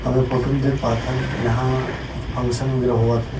हम ए फोटो म देख पाथन यहाँ कुछ फंक्शन वगैरह होवत हे।